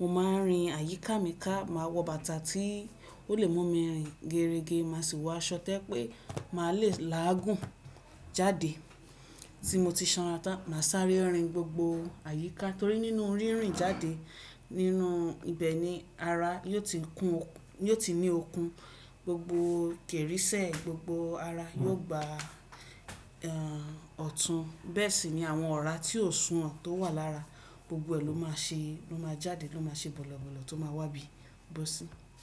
Mo máa rìn àyíká mi ká, màá wọ bàtà tí ó lè mú mi rìn geerege, màá sì wọ aṣọ tẹ́ pé màá lè láàgùn jáde tí mo ti sanra tán. Màá sáré rìn gbogbo àyíká torí nínú rírìn jáde nínú ibẹ̀ ni ara ni o ti yóò ti ní okun, gbogbo kèrisẹ̀ gbogbo ara yóò gba ọ̀tún. Bẹ́ẹ̀ sì ni àwọn ọ̀rá tí ó sùn hàń tó wà lára gbogbo ẹ̀ ló máa ṣe jáde ló máa ṣe bọ̀lọ̀bọ̀lọ̀ tó máa wá bí i bó sí.